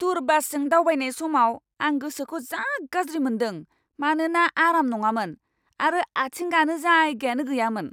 Tour बासजों दावबायनाय समाव आं गोसोखौ जा गाज्रि मोन्दों मानोना आराम नङामोन आरो आथिं गानो जायगायानो गैयामोन।